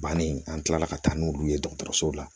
Bannen an kilala ka taa n'olu ye dɔgɔtɔrɔso la